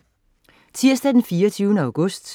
Tirsdag den 24. august